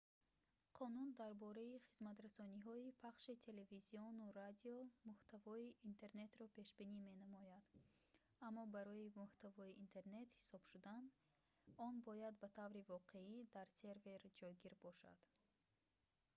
қонун дар бораи хизматрасониҳои пахши телевизиону радио муҳтавои интернетро пешбинӣ менамояд аммо барои муҳтавои интернет ҳисоб шудан он бояд ба таври воқеӣ дар сервер ҷойгир бошад